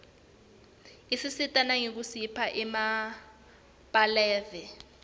isisita nangekusipha emabalave